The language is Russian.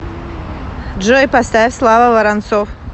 джой поставь слава воронцов